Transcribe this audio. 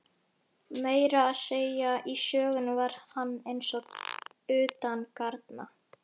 Meira að segja í sögunni var hann eins og utangarna.